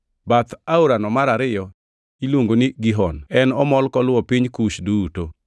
Bath aorano mar ariyo iluongo ni Gihon; en omol koluwo piny Kush duto.